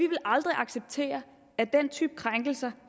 aldrig acceptere at den type krænkelser